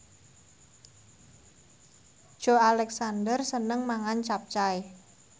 Joey Alexander seneng mangan capcay